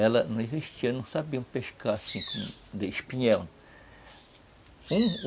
Ela não existia, não sabiam pescar, assim, de espinhel.